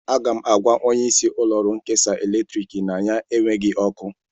Aga m agwa onyeisi ụlọọrụ nkesa eletrik na anyị enweghị ọkụ